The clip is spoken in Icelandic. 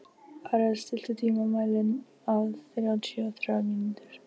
Mig langaði greip Engilbert fram í.